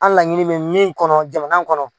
An laɲini mɛ min kɔnɔ jamana kɔnɔ.